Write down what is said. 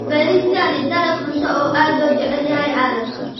Bariiska ni dalag cunto oo aad loo jecel yahay caalamka.